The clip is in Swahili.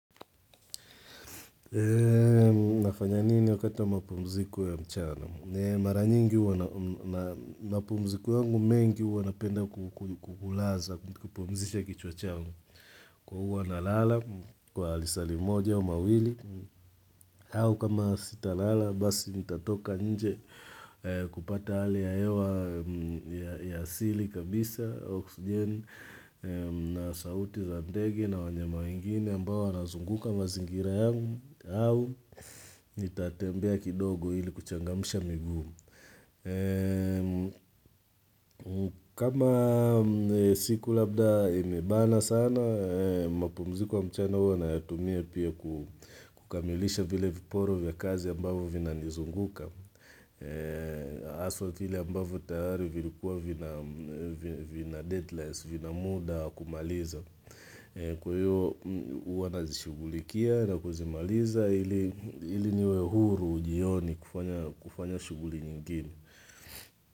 Nafanya nini wakati wa mapumziko ya mchana? Mara nyingi huwa na mapumziko yangu mengi huwa napenda kukulaza, kupumzisha kichwa changu. Kwa huwa nalala, kwa lisaa limoja, au mawili. Au kama sitalala, basi nitatoka nje kupata hali ya hewa ya asili kabisa, oksijeni na sauti za ndege na wanyama wengine ambao wanazunguka mazingira yangu au nitatembea kidogo hili kuchangamsha migumu. Kama siku labda imebana sana, mapumziko ya mchana huwa nayatumia pia kukamilisha vile viporo vya kazi ambavo vinanizunguka. Haswa vile ambavyo tayari vilikuwa vina deadline, vina muda wa kumaliza Kwa hiyo huwa nazishughulikia na kuzimaliza, ili niwe huru jioni kufanya shughuli nyingine.